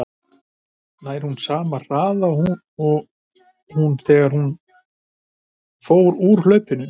Nær hún sama hraða og hún var á þegar hún fór úr hlaupinu?